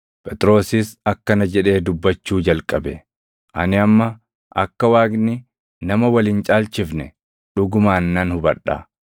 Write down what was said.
Phexrosis akkana jedhee dubbachuu jalqabe; “Ani amma akka Waaqni nama Wal hin caalchifne dhugumaan nan hubadha.